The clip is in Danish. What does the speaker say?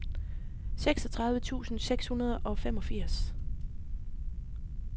seksogtredive tusind seks hundrede og femogfirs